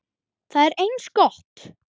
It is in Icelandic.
Það er eins gott.